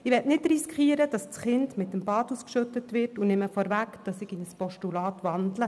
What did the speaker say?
Ich möchte nicht riskieren, dass das Kind mit dem Bad ausgeschüttet wird und nehme die Umwandlung in ein Postulat vorneweg.